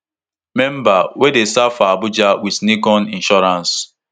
memberv wey dey serve for abuja wit nicon insurance